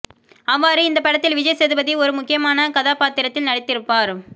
அவ்வாறு இந்த படத்தில் விஜய் சேதுபதி ஒரு முக்கியமான கதாபாத்திரத்தில் நடித்திருப்பார்